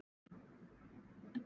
Við vorum mettir.